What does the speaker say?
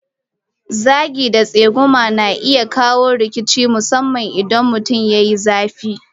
Zagi da tsegumi kuma na iya kawo rikici musamman idan mutum ya yi zafi.